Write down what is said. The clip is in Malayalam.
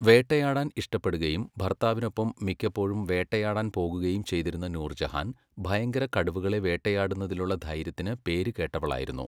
വേട്ടയാടാൻ ഇഷ്ടപ്പെടുകയും ഭർത്താവിനൊപ്പം മിക്കപ്പോഴും വേട്ടയാടാൻ പോകുകയും ചെയ്തിരുന്ന നൂർജഹാൻ ഭയങ്കര കടുവകളെ വേട്ടയാടുന്നതിലുള്ള ധൈര്യത്തിന് പേരുകേട്ടവളായിരുന്നു.